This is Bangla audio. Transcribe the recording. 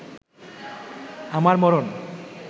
আমার মরণ